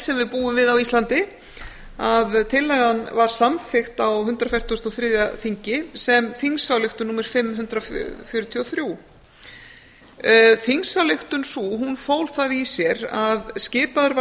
sem við búum við á íslandi að tillagan var samþykkt á hundrað fertugasta og þriðja þingi sem þingsályktun númer fimm hundrað fjörutíu og þrjú þingsályktun sú hún fól það í sér að skipaður var